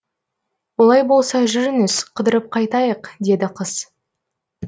олай болса жүріңіз қыдырып қайтайық деді қыз